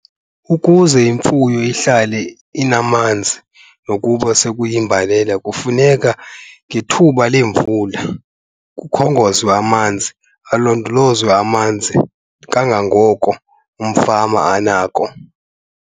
Ukuze imfuyo ihlale inamanzi nokuba sekuyimbalela kufuneka ngethuba leemvula kukhongonzwe amanzi, alondolozwe amanzi kangangoko umfama anako.